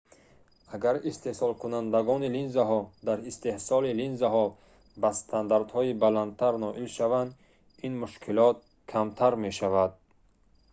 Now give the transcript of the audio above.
агар истеҳсолкунандагони линзаҳо дар истеҳсоли линзаҳо ба стандартҳои баландтар ноил шаванд ин мушкилот камтар мешавад